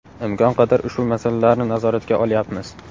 Imkon qadar ushbu masalalarni nazoratga olyapmiz.